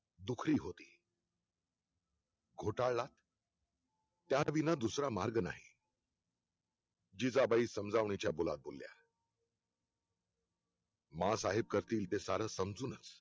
तुकडी होती घोटाळला त्यात विना दुसरा मार्ग नाही जिजाबाई समजावण्याच्या बोलत बोलल्या माँ साहेब करतील ते सारं समजूनच